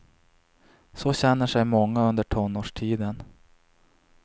Så känner sig många under tonårstiden.